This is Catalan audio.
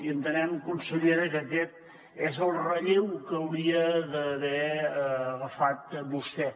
i entenem consellera que aquest és el relleu que hauria d’haver agafat vostè